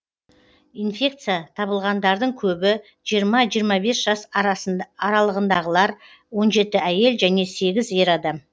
инфекция табылғандардың көбі жиырма жиырма бес жас аралығындағылар он жеті әйел және сегіз ер адам